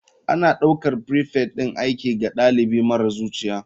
Ana ɗaukar prefect ɗin aiki ga ɗalibi marar zuciya.